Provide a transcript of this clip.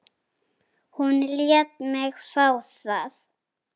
Hún lét mig fá það.